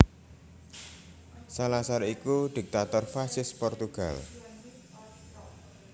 Salazar iku diktator fasis Portugal